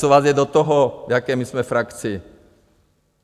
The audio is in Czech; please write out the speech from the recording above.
Co vám je do toho, v jaké my jsme frakci?